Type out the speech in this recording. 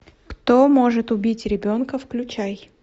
кто может убить ребенка включай